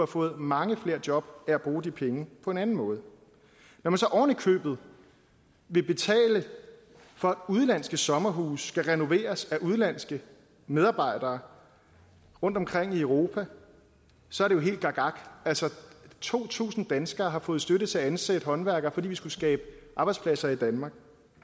fået mange flere job af at bruge de penge på en anden måde når man så oven i købet vil betale for at udenlandske sommerhuse skal renoveres af udenlandske medarbejdere rundtomkring i europa så er det jo helt gakgak to tusind danskere har fået støtte til at ansætte håndværkere fordi vi skulle skabe arbejdspladser i danmark